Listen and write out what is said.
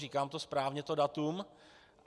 Říkám to správně, to datum?